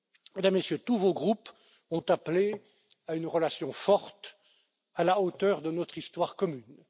Mesdames, Messieurs, tous vos groupes ont appelé à une relation forte, à la hauteur de notre histoire commune.